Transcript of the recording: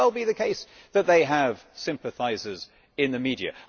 It may well be the case that they have sympathisers in the media.